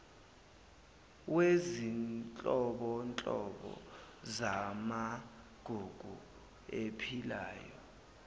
wezinhlobonhlobo zamagugu aphilayo